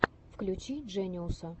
включи джениуса